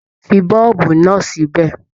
Fí boolubu náà sí bẹ!